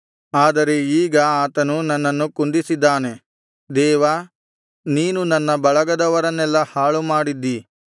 ಆದರೆ ಈಗ ಆತನು ನನ್ನನ್ನು ಕುಂದಿಸಿದ್ದಾನೆ ದೇವಾ ನೀನು ನನ್ನ ಬಳಗದವರನ್ನೆಲ್ಲಾ ಹಾಳು ಮಾಡಿದ್ದಿ